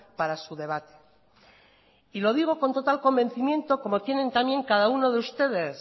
para su debate y lo digo con total convencimiento como tienen también cada uno de ustedes